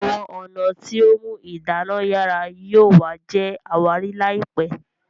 Àwọn ọnà tíó mú idana yara yóò wa jé àwárí láìpé